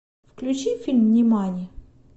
включи фильм нимани